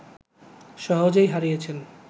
সহজেই হারিয়েছেন